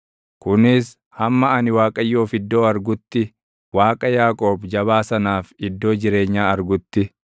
kunis hamma ani Waaqayyoof iddoo argutti, Waaqa Yaaqoob Jabaa sanaaf iddoo jireenyaa argutti.”